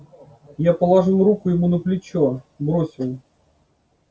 я положил руку ему на плечо бросил